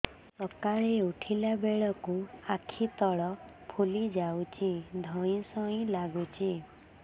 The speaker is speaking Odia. ସକାଳେ ଉଠିଲା ବେଳକୁ ଆଖି ତଳ ଫୁଲି ଯାଉଛି ଧଇଁ ସଇଁ ଲାଗୁଚି